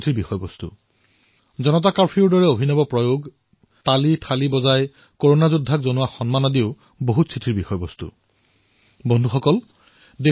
যেতিয়া জনতা কাৰ্ফিউৰ দৰে অভিনৱ প্ৰয়াস সমগ্ৰ বিশ্বৰ বাবে প্ৰেৰণা হৈ পৰিল যেতিয়া তালিথালি বজাই দেশবাসীয়ে আমাৰ কৰোনাৰ যোদ্ধাসকলক সন্মান প্ৰদৰ্শন কৰিলে ঐক্যৱদ্ধতা প্ৰদৰ্শন কৰিলে সেয়াও বহু লোকে স্মৰণ কৰিছে